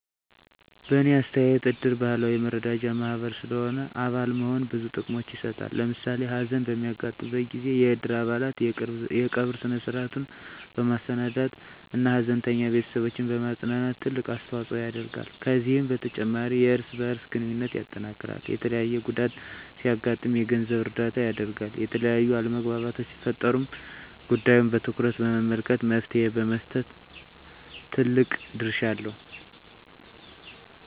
በእኔ አስተያየት እድር ባህላዊ የመረዳጃ ማህበር ስለሆነ አባል መሆን ብዙ ጥቅሞችን ይሰጣል። ለምሳሌ ሀዘን በሚያጋጥምበት ጊዜ የእድር አባላት የቀብር ስነ-ስርዐቱን በማሰናዳት እና ሀዘንተኛ ቤተስቦችን በማፅናናት ትልቅ አስተዋጽኦ ያደርጋሉ። ከዚህም በተጨማሪ የእርስ በእርስ ግንኙነትን ያጠናክራል፣ የተለያየ ጉዳት ሲያጋጥም የገንዘብ እርዳታ ያደርጋል፣ የተለያዩ አለመግባባቶች ሲፈጠሩም ጉዳዩን በትኩረት በመመልከት መፍትሔ በመስጠት ትልቅ ድርሻ አለው።